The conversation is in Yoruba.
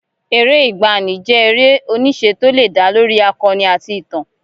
Eré ìgbaanì jẹ́ eré-oníṣe tó lè dá lórí akọni àti ìtàn.